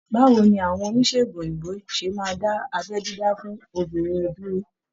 Báwo ni àwọn oníṣègùn òyìnbó ṣe máa dá abẹ́ dídá fún obìnrin dúró?